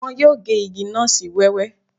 Wọn yóò gé igi náà sí wẹ́wẹ́